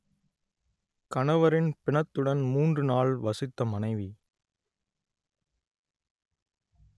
கணவரின் பிணத்துடன் மூன்று நாள் வசித்த மனைவி